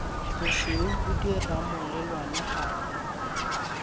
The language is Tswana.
bosweu bo dirang molelwane gareng